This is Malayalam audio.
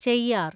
ചെയ്യാർ